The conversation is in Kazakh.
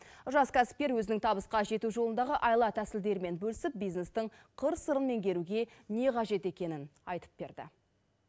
жас кәсіпкер өзінің табысқа жету жолындағы айла тәсілдерімен бөлісіп бизнестің қыр сырын меңгеруге не қажет екенін айтып берді